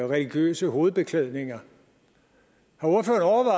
religiøse hovedbeklædninger